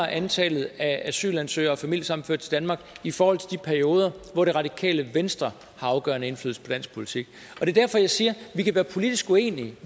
antallet af asylansøgere og familiesammenførte til danmark i forhold til de perioder hvor det radikale venstre har afgørende indflydelse på dansk politik det er derfor jeg siger at vi kan være politisk uenige